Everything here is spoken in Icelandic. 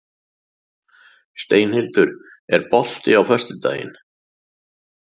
Steinhildur, er bolti á föstudaginn?